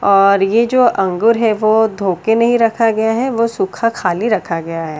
और ये जो अंगूर है वो धो के नहीं रखा गया है वो सूखा खाली रखा गया है।